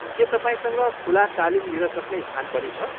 के तपाईँसँग खुला तालिम लिनसक्ने स्थान पनि छ?